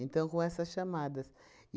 com essas chamadas.